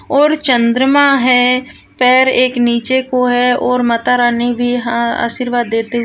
और चंद्रमा है पैर एक नीचे को है और माताराणी भी हा आशीर्वाद देते --